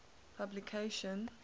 publication